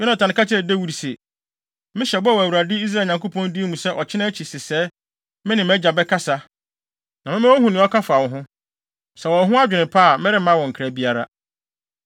Yonatan ka kyerɛɛ Dawid se, “Mehyɛ bɔ wɔ Awurade Israel Nyankopɔn din mu sɛ ɔkyena akyi sesɛɛ me ne mʼagya bɛkasa, na mɛma woahu nea ɔka fa wo ho. Sɛ ɔwɔ wo ho adwene pa a meremma wo nkra biara.